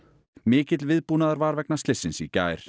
mikill viðbúnaður var vegna slyssins í gær